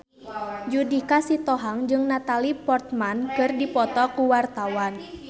Judika Sitohang jeung Natalie Portman keur dipoto ku wartawan